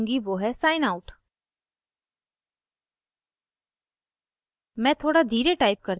पहली चीज़ जो मैं करुँगी वो है sign out